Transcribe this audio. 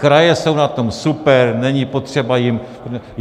Kraje jsou na tom super, není potřeba jim...